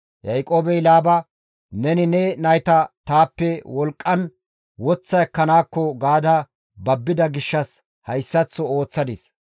Yaaqoobey Laaba, «Neni ne nayta taappe wolqqan woththa ekkanaakko gaada babbida gishshas hayssaththo ooththadis.